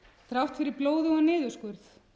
þrátt fyrir blóðugan niðurskurð